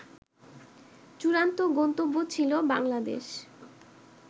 চূড়ান্ত গন্তব্য ছিল বাংলাদেশ